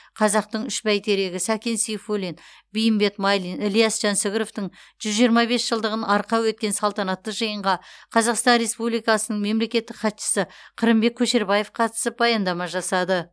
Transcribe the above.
қазақтың үш бәйтерегі сәкен сейфуллин бейімбет майлин ілияс жансүгіровтің жүз жиырма бес жылдығын арқау еткен салтанатты жиынға қазақстан республикасының мемлекеттік хатшысы қырымбек көшербаев қатысып баяндама жасады